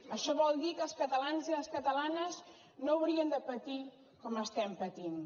això vol dir que els catalans i les catalanes no hauríem de patir com estem patint